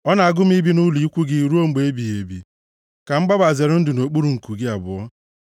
Ọ na-agụ m ibi nʼụlọ ikwu gị ruo mgbe ebighị ebi, ka m gbaba, zere ndụ nʼokpuru nku gị abụọ. Sela